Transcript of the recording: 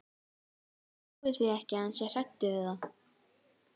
Ég trúi því ekki að hann sé hræddur við það.